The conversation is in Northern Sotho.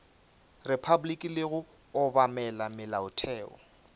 repabliki le go obamela molaotheo